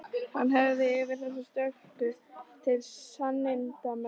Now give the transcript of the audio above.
Hann hafði yfir þessa stöku til sannindamerkis